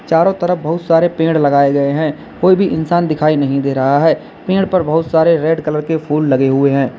चारों तरफ बहुत सारे पेड़ लगाए गए हैं कोई भी इंसान दिखाई नहीं दे रहा है पेड़ पर बहुत सारे रेड कलर के फूल लगे हुए है।